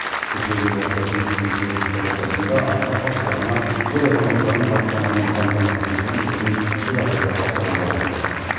кеше елбасы үкіметтің кеңейтілген отырысында аймақ басшыларына ел азаматтарын баспанамен қамтамасыз ету ісін ширатуды тапсырған болатын